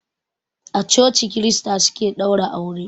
A coci krista suke ɗaura aure.